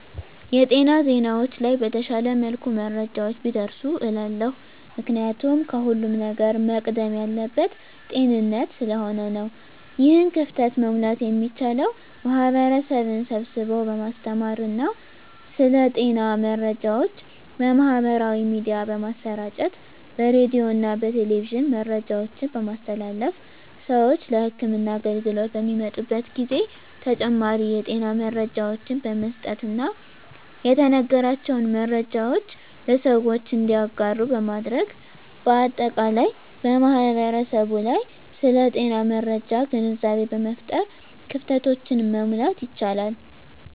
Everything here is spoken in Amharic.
የጤና ዜናዎች ላይ በተሻለ መልኩ መረጃዎች ቢደርሱ እላለሁ። ምክንያቱም ከሁለም ነገር መቅደም ያለበት ጤንነት ስለሆነ ነው። ይህን ክፍተት መሙላት የሚቻለው ማህበረሰብን ስብስቦ በማስተማር ስለ ጤና መረጃዎች በማህበራዊ ሚዲያ በማሰራጨት በሬዲዮና በቴሌቪዥን መረጃዎችን በማስተላለፍ ስዎች ለህክምና አገልግሎት በሚመጡበት ጊዜ ተጨማሪ የጤና መረጃዎችን በመስጠትና የተነገራቸውን መረጃዎች ለሰዎች እንዲያጋሩ በማድረግ በአጠቃላይ በማህበረሰቡ ላይ ስለ ጤና መረጃ ግንዛቤ በመፍጠር ክፍተቶችን መሙላት ይቻላል።